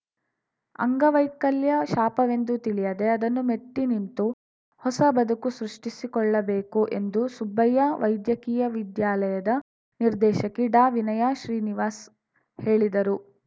ಅಂಗವೈಕಲ್ಯ ಶಾಪವೆಂದು ತಿಳಿಯದೇ ಅದನ್ನು ಮೆಟ್ಟಿನಿಂತು ಹೊಸ ಬದುಕು ಸೃಷ್ಟಿಸಿಕೊಳ್ಳಬೇಕು ಎಂದು ಸುಬ್ಬಯ್ಯ ವೈದ್ಯಕೀಯ ವಿದ್ಯಾಲಯದ ನಿರ್ದೇಶಕಿ ಡಾವಿನಯಾ ಶ್ರೀನಿವಾಸ್‌ ಹೇಳಿದರು